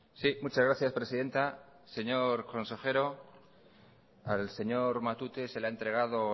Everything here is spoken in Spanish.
sí muchas gracias presidenta señor consejero al señor matute se le ha entregado